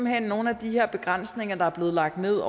hen nogle af de her begrænsninger der er blevet lagt ned